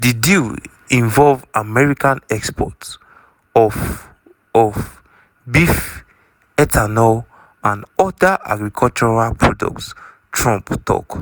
di deal involve american exports of of beef ethanol and oda agricultural products trump tok.